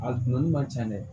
A dunni man ca dɛ